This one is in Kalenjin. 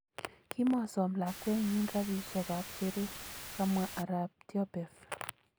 Kimosom lagwenyin rapishek kap shere,"kamwa arap Tyopev.